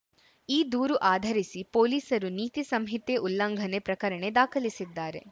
ಈ ದೂರು ಆಧರಿಸಿ ಪೊಲೀಸರು ನೀತಿ ಸಂಹಿತೆ ಉಲ್ಲಂಘನೆ ಪ್ರಕರಣ ದಾಖಲಿಸಿದ್ದಾರೆ